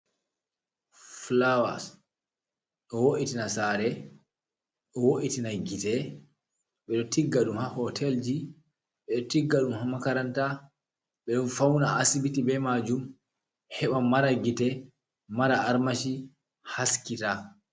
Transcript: Fulawa e woitina sare e wo’itina gite ɓurɗo tigga dum ha hotelji bedo tigga dum makaranta bedo fauna asibiti be majum heɓa mara gite mara armashi haskita.